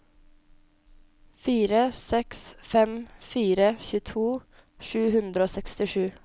fire seks fem fire tjueto sju hundre og sekstisju